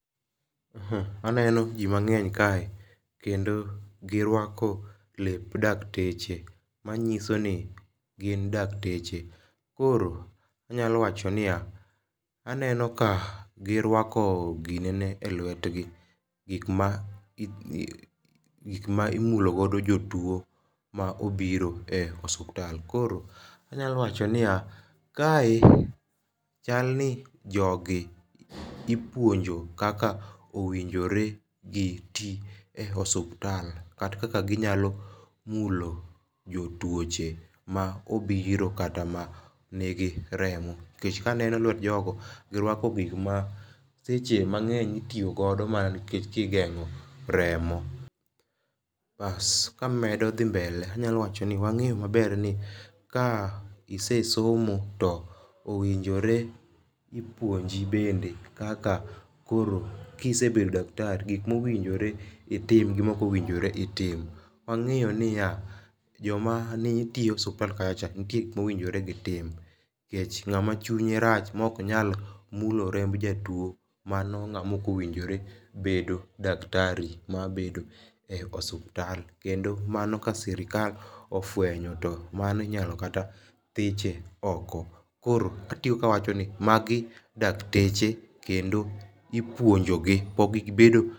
Aneno ji mang'eny kae kendo girwako lep dakteche manyiso ni gin dakteche. Koro anyalo wacho niya, aneno ka girwako ginene e lwetgi. Gik ma imulogodo jotuo ma obiro e osuptal. Koro anyalo wacho niya, kae chal ni jogi ipuonjo kaka owinjore giti e osuptal kata kaka ginyalo mulo jotuoche ma obiro kata manigi remo. Nikech kaneno lwet jogo, girwako gik ma seche mang'eny itiyo go mana kigeng'o remo. Kamedo dhi mbele anyalo wacho ni wang'e maber ni ka ise somo owinjore ipuonji bende kaka koro kisebedo daktari gik mowinjore itim gi mok owinjore itim. Wang'eyo niya joma ne tiyo osuptal kacha cha nitie gik mowinjore gitim. Nikech ng'ama chinye rach mok nyal mulo remb jatuo mano ng'ama ok owinjore bedo daktari mabedo e osuptal kendo mano ka sirikal ofwenyo mano inyalo kata thiche oko. Koro katieko awacho ni magi dakteche kendo ipuonjo gi pok gibedo.